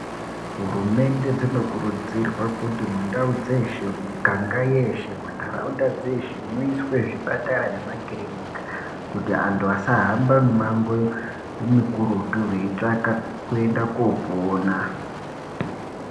Hurumende dzinokuridzirwa kuti mundau dzeshe muganga eshe muiswe zvipatara nemakirinika kuti antu asahamba mumango mikurutu veitsvaka kuenda kopona.